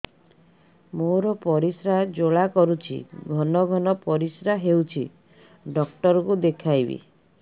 ମୋର ପରିଶ୍ରା ଜ୍ୱାଳା କରୁଛି ଘନ ଘନ ପରିଶ୍ରା ହେଉଛି ଡକ୍ଟର କୁ ଦେଖାଇବି